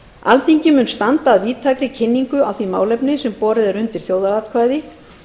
alþingi mun standa að víðtækri kynningu á því málefni sem borið er undir þjóðaratkvæði